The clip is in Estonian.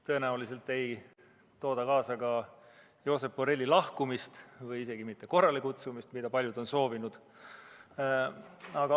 Tõenäoliselt ei too see kaasa ka Josep Borrelli ametist lahkumist ega isegi mitte tema korralekutsumist, mida paljud on soovinud.